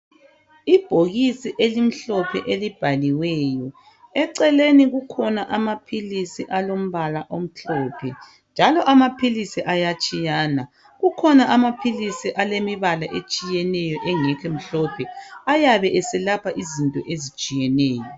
Ibhokisi elimhlophe elibhaliweyo. Eceleni kukhona amaphilisi alombala omhlophe, njalo amaphilisi ayatshiyana. Kukhona amaphilisi alemibala etshiyeneyo engekho mhlophe, ayabe eselapha izinto ezitshiyeneyo.